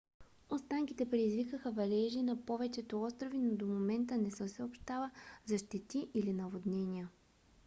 останките предизвикаха валежи на повечето острови но до момента не се съобщава за щети или наводнения